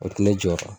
O tɛ ne jɔyɔrɔ ye